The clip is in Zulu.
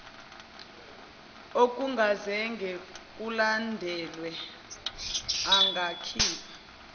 okungazange kulandelwe angakhipha